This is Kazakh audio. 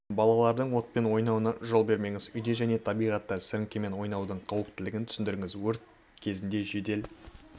балалардың отпен ойнауына жол бермеңіз үйде және табиғатта сіріңкемен ойнаудың қауіптілігін түсіндіріңіз өрт кезінде жедел